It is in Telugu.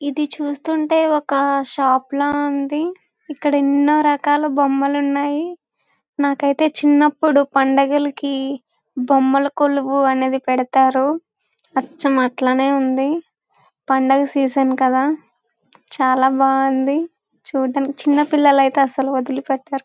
ఇది చూస్తుంటే ఒక షాప్ ల ఉంది. ఇక్కడ ఎన్నో రకాల బొమ్మలు ఉన్నాయి. నాకు అయితే చిన్నప్పుడు పండగలకి బొమ్మల కొలువు అనేది పెడుతారు. అచ్చం అట్లనే ఉంది పండగ సీసన్ కదా చాలా బాగుంది. చుడానికి అయితే చిన్న పిల్లలు అయితే అసలు వదిలిపెట్టారు.